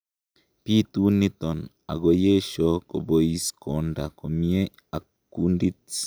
bitu niton angoyesho kobois konda komie ak kundit